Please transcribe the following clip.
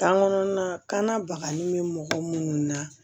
Kan kɔnɔna bakanni bɛ mɔgɔ minnu na